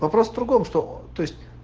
вопрос в другом что то есть